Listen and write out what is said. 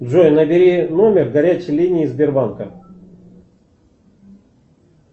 джой набери номер горячей линии сбербанка